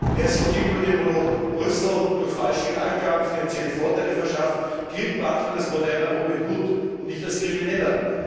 Wer sich gegenüber dem Moloch Brüssel durch falsche Angaben finanzielle Vorteile verschafft, gilt manchmal als moderner Robin Hood und nicht als Krimineller.